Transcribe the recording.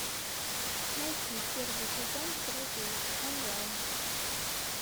найти первый сезон друзей онлайн